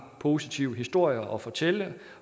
positive historier at fortælle